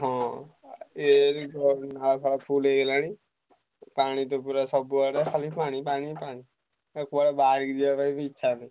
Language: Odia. ହଁ ଏଇ ନାଳ ଫାଳ full ହେଇଗଲାଣି, ପାଣି ତ ପୁରା ସବୁଆଡେ ଖାଲି ପାଣିପାଣିପାଣି। ଆଉ କୁଆଡେ ବାହାରିକି ଯିବାକୁ ବି ଇଛା ନାହିଁ।